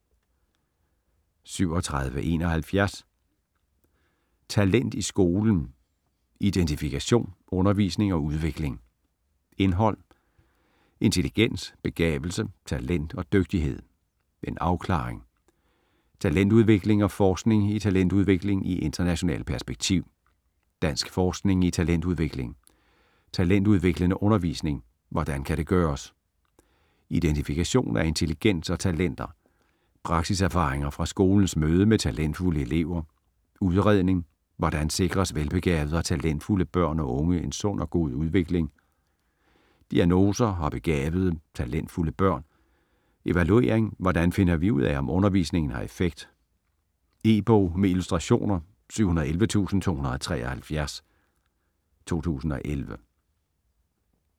37.71 Talent i skolen: identifikation, undervisning og udvikling Indhold: Intelligens, begavelse, talent og dygtighed - en afklaring ; Talentudvikling og forskning i talentudvikling i internationalt perspektiv ; Dansk forskning i talentudvikling ; Talentudviklende undervisning - hvordan kan det gøres? ; Identifikation af intelligens og talenter ; Praksiserfaringer fra skolens møde med talentfulde elever ; Udredning - hvordan sikres velbegavede og talentfulde børn og unge en sund og god udvikling? ; Diagnoser og begavede, talentfulde børn ; Evaluering - hvordan finder vi ud af, om undervisningen har effekt? E-bog med illustrationer 711273 2011.